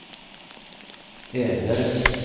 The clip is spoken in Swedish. ägare